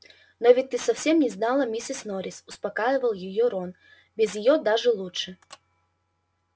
но ведь ты совсем не знала миссис норрис успокаивал её рон без её даже лучше